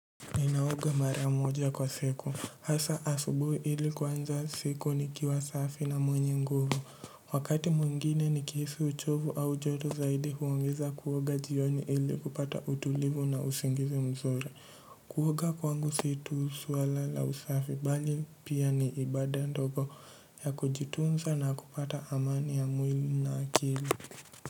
Ninaoga mara moja kwa siku hasa asubuhi ili kuanza siku ni kiwasafi na mwenye nguvu wakati mwingine ni kihisi uchovu au joto zaidi huongeza kuoga jioni ili kupata utulivu na usingizi mzuri kuoga kwangu situs wala la usafi bali pia ni ibada ndogo ya kujitunza na kupata amani ya mwili na akili.